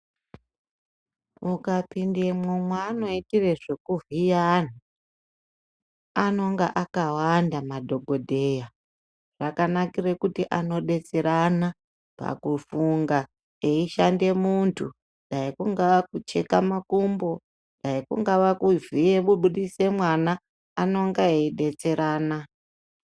Uka pindamwo mwaano itire zveku vhiya anhu, anonga akawanda madhokodheya. Zvakanakire kuti ano detserana pakufunga eishande muntu. Dai kungaa kucheka makumbo, dai kungava kuvhiye kubudise mwana, anonga eidetserana.